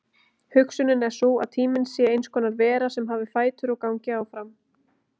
Hugsunin er sú að tíminn sé eins konar vera sem hafi fætur og gangi áfram.